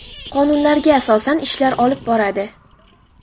Qonunlarga asosan ishlar olib boradi.